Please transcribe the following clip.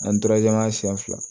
An siyɛn fila